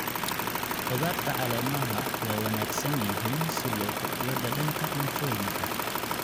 Khudaarta caleemaha waa wanaagsan yihiin si loo kordhiyo dhadhanka cuntooyinka.